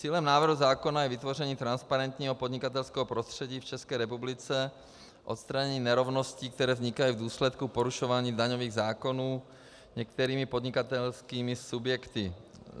Cílem návrhu zákona je vytvoření transparentního podnikatelského prostředí v České republice, odstranění nerovností, které vznikají v důsledku porušování daňových zákonů některými podnikatelskými subjekty.